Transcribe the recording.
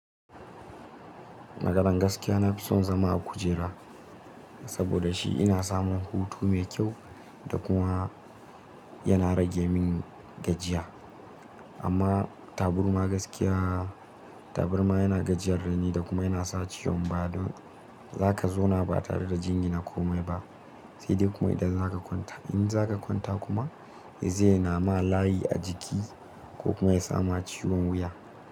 Maganan gaskiya, na fi son zama a kujera saboda shi ina samun hutu mai kyau da kuma yana rage min gajiya. Amma taburma gaskiya, taburma yana gajiyar da ni da kuma yana sa ciwon baya. Don zaka zauna ba tare da jini na komai ba, sai dai kuma idan zaka kwanta. In zaka kwanta kuma, zai nama layi a jiki ko kuma ya sama ciwon wuya.